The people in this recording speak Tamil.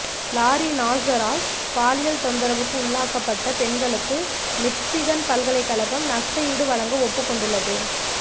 லாரி நாசரால் பாலியல் தொந்தரவுக்குள்ளாக்கப்பட்ட பெண்களுக்கு மிக்சிகன் பல்கலைக்கழகம் நஷ்டஈடு வழங்க ஒப்புக்கொண்டுள்ளது